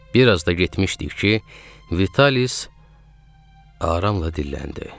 Bir az da getmişdik ki, Vitalis aramla dilləndi.